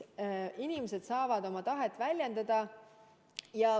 Inimesed saavad oma tahet väljendada.